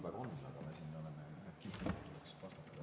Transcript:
Järgnevalt Alar Laneman, palun!